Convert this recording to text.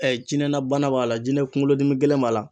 Ɛ jinɛnabana b'a la jɛnɛkun kolodimi gɛlɛn b'a la